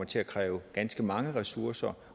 til at kræve ganske mange ressourcer